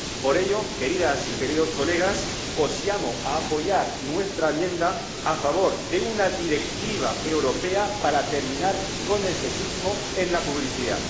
Por ello, queridas y queridos colegas, os llamo a apoyar nuestra enmienda a favor de una directiva europea para terminar con el sexismo en la publicidad.